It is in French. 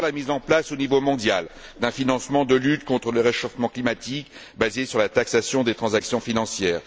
Tout d'abord, la mise en place, au niveau mondial, d'un financement de la lutte contre le réchauffement climatique, basé sur la taxation des transactions financières.